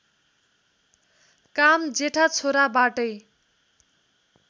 काम जेठा छोराबाटै